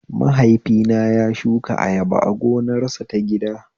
Mahaifina ya shuka ayaba a gonarsa ta gida